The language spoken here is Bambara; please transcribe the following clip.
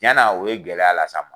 tiɲɛna, o ye gɛlɛya las'a ma.